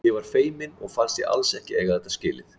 Ég var feimin og fannst ég alls ekki eiga þetta skilið.